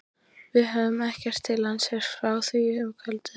Við höfðum ekkert til hans heyrt frá því um kvöldið.